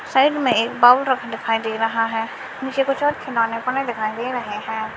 Side में एक दे रहा है मुझे कुछ और खिलौने को नहीं दिखाई दे रहे हैं।